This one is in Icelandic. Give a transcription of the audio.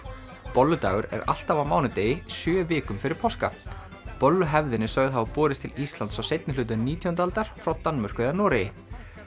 bolludagur er alltaf á mánudegi sjö vikum fyrir páska bolluhefðin er sögð hafa borist til Íslands á seinni hluta nítjándu aldar frá Danmörku eða Noregi